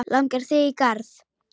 Langar þig í garð?